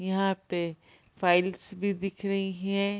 यहाँ पे फाइल्स भी दिख रही है।